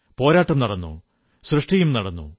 പോരാട്ടം നടന്നു സൃഷ്ടിയും നടന്നു